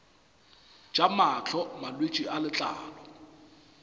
tša mahlo malwetse a letlalo